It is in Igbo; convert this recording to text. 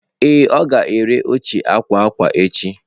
Ee, ọ ga-ere oche akwa akwa echi.